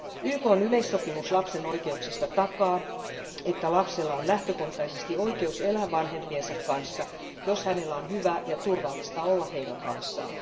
YKn yleissopimus lapsen oikeuksista takaa, että lapsella on lähtökohtaisesti oikeus elää vanhempiensa kanssa, jos hänellä on hyvä ja turvallista olla heidän kanssaan.